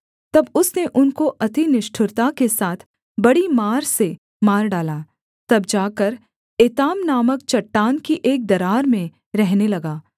तब उसने उनको अति निष्ठुरता के साथ बड़ी मार से मार डाला तब जाकर एताम नामक चट्टान की एक दरार में रहने लगा